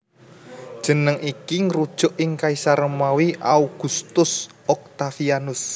Jeneng iki ngrujuk ing kaisar Romawi Augustus Octavianus